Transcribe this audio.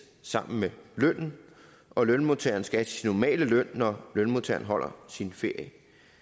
sammen med lønnen og lønmodtageren skal have sin normale løn når lønmodtageren holder sin ferie